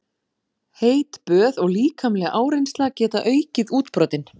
Heit böð og líkamleg áreynsla geta aukið útbrotin.